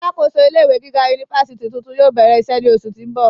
Alákòóso ilé ìwé gíga unifási tuntun yóò bẹrẹ iṣẹ ni oṣu ti n bọ.